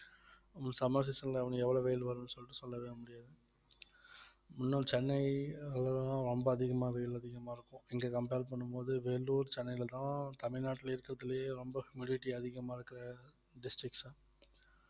உம் summer season ல வந்து எவ்வளவு வெயில் வரும்ன்னு சொல்லிட்டு சொல்லவே முடியாது இன்னும் சென்னை ரொம்ப அதிகமா வெயில் அதிகமா இருக்கும் இங்க compare பண்ணும் போது வேலூர் சென்னையிலதான் தமிழ்நாட்டுல இருக்கறதுலயே ரொம்ப அதிகமா இருக்கற districts அ